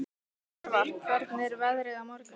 Jörvar, hvernig er veðrið á morgun?